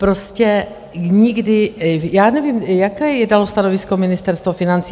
Prostě nikdy - já nevím, jaké je tam stanovisko Ministerstva financí?